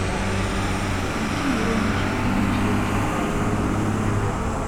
найди иронию судьбы или с легким паром